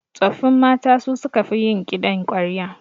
Tsoffin mata su suka fi yin kiɗan ƙwarya